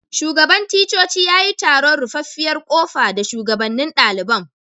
Shugaban ticcoci ya yi taron ruffafiyar kofa da shugabanen dalibain.